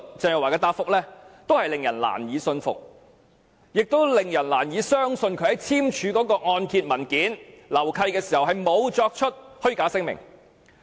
鄭若驊的答覆令人難以信服，亦令人難以相信她在簽署按揭文件和樓契時沒有作出虛假聲明。